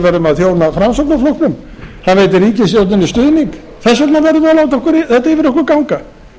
verðum að þjóna framsóknarflokknum hann veitir ríkisstjórninni stuðning þess vegna verðum við að láta þetta yfir okkur ganga